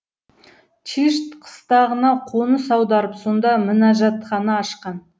чишт қыстағына қоныс аударып сонда мінажатхана ашқан